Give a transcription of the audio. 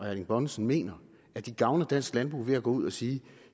erling bonnesen mener at de gavner dansk landbrug ved at gå ud at sige